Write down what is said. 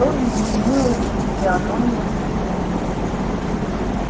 что изменилось в физиономиях свиней